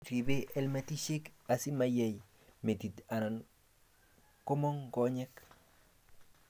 ribe helmetishek asimayeey metit anan komong konyek